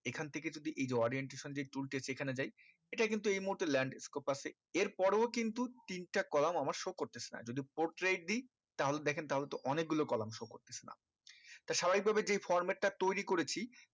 এই খান থেকে যদি এই যে orientation tools টি আছে এখানে যায় এটা কিন্তু এই মুহূর্তে landscape আছে এর পরেও কিন্তু তিনটা column আমার show করতেছে না যদি portrait দি তাহলে দেখেন তাহলে তো অনেক গুলো column show করতেছে না তা স্বাভাবিক ভাবে যেই format টা তৈরি করেছি